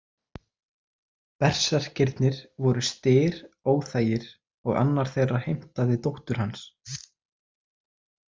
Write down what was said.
Berserkirnir voru Styr óþægir og annar þeirra heimtaði dóttur hans.